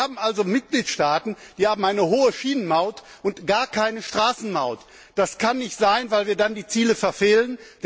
Wir haben also Mitgliedstaaten, die eine hohe Schienenmaut und gar keine Straßenmaut haben. Das kann nicht sein, weil wir dann die Ziele verfehlen.